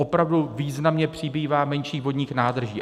Opravdu významně přibývá menších vodních nádrží.